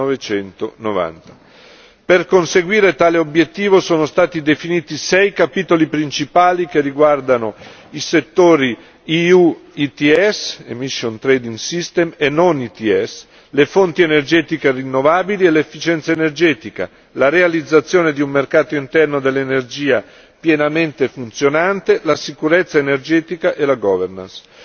1990. Per conseguire tale obiettivo sono stati definiti sei capitoli principali che riguardano i settori EU ETS Emission Trade System e non ETS, le fonti energetiche rinnovabili e l'efficienza energetica, la realizzazione di un mercato interno dell'energia pienamente funzionante, la sicurezza energetica e la governance